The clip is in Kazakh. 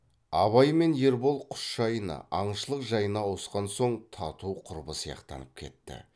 абай мен ербол құс жайына аңшылық жайына ауысқан соң тату құрбы сияқтанып кетті